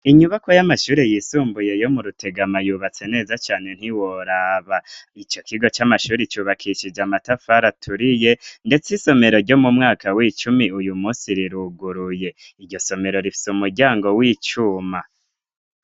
Inyubako y'amashure yisumbuye yo mu rutegama yubatse neza cane ntiworaba ,ico kigo c'amashure cubakishije amatafari aturiye ndetse isomero ryo mu mwaka w'icumi uyu munsi riruguruye ,iryo somero rifise umuryango w'icuma.